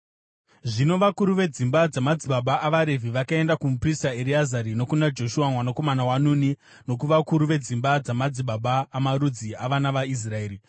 Zvino vakuru vedzimba dzamadzibaba avaRevhi vakaenda kumuprista Ereazari, nokuna Joshua mwanakomana waNuni, nokuvakuru vedzimba dzamadzibaba amarudzi avana vaIsraeri.